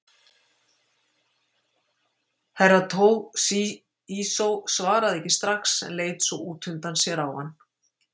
Herra Toshizo svaraði ekki strax en leit svo út undan sér á hann.